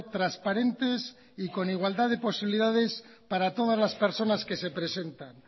transparentes y con igualdad de posibilidades para todas las personas que se presentan